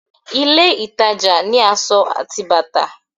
ilé ìtajà ni asọ ati bàtà